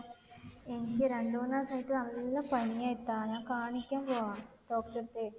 എനിക്ക് രണ്ട് മൂന്ന് ദിവസമായിട്ട് നല്ല പനിയാ ഇത്ത. ഞാൻ കാണിക്കാൻ പോവാ. doctor ടെ അടുത്ത്.